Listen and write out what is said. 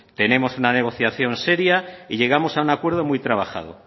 tenemos una negociación seria y llegamos a un acuerdo muy trabajado